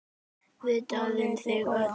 Við dáðum þig öll.